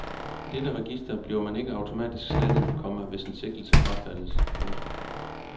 I dette register bliver man ikke automatisk slettet, komma hvis en sigtelse frafaldes. punktum